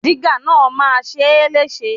Dígà náà máa ṣe é léṣe.